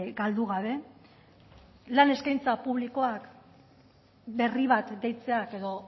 galdu gabe lan eskaintza publikoak berri bat deitzea edo